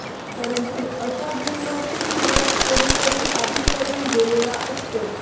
परंतु अशा जीवनाची सुरवात कोणीतरी आधी करून गेलेला असतो